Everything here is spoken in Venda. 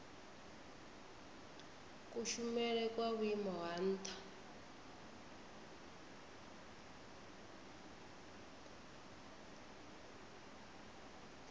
kushumele kwa vhuimo ha nha